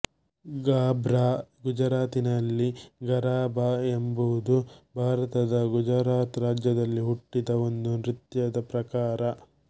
ಗರ್ಭಾ ಗುಜರಾತಿನಲ್ಲಿ ಗರಾಬಾ ಎಂಬುದು ಭಾರತದ ಗುಜರಾತ್ ರಾಜ್ಯದಲ್ಲಿ ಹುಟ್ಟಿದ ಒಂದು ನೃತ್ಯದ ಪ್ರಕಾರ